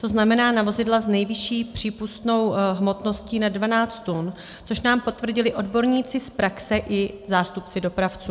To znamená, na vozidla s nejvyšší přípustnou hmotností nad 12 tun, což nám potvrdili odborníci z praxe i zástupci dopravců.